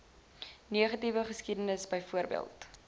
negatiewe geskiedenis byvoorbeeld